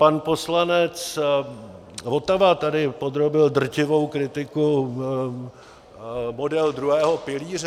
Pan poslanec Votava tady podrobil drtivé kritice model druhého pilíře.